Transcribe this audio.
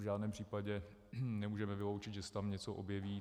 V žádném případě nemůžeme vyloučit, že se tam něco objeví.